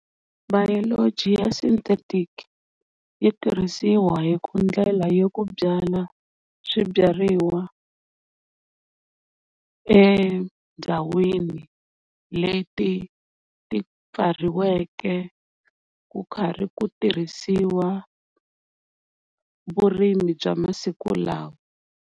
Biology ya synthetic yi tirhisiwa hi ku ndlela ya ku byala swibyariwa endhawini leti ti byariweke ku karhi ku tirhisiwa vurimi bya masiku lawa.